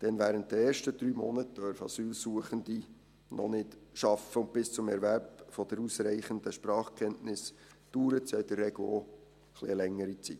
Denn während der ersten drei Monate dürfen sie noch nicht arbeiten, und bis zum Erwerb der ausreichenden Sprachkenntnisse dauert es ja in der Regel auch eine längere Zeit.